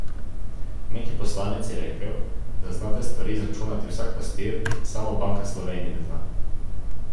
Neki poslanec je rekel, da zna te stvari izračunati vsak pastir, samo Banka Slovenije ne zna.